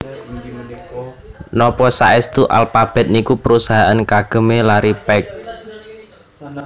Nopo saestu Alphabet niku perusahaan kagem e Larry Page?